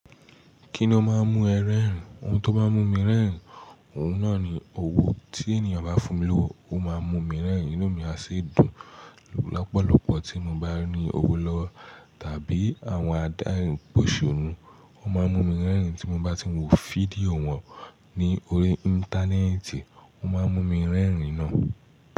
Kí ni ó máa ń mú ẹ rẹ́rìn? Ohun tó maa mú mi rẹ́rìn, ohun náà ni owó tí ènìyàn bá fún mi lówó, ó máa ń mú mi rẹ́rìn, inú mi á sì dùn. Lọ́pọ̀lọ́pọ̀ tí mo bá ní owó lọwo tàbí àwọn adarin pa osonu, o máa ń mú mi rẹ́rìn. Tí mo bá ti ń wo fídíò wọn ní orí Íńtánẹ́ẹ̀tì, ó máa ń mú mi rẹ́rìn náà.